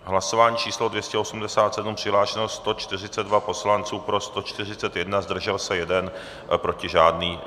Hlasování číslo 287, přihlášeno 142 poslanců, pro 141, zdržel se 1, proti žádný.